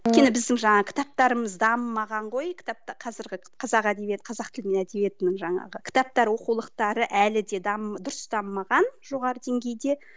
өйткені біздің жаңағы кітаптарымыз дамымаған ғой қазіргі қазақ әдебиет қазақ тілінің әдебиетінің жаңағы кітаптары оқулықтары әлі де дұрыс дамымаған жоғары деңгейде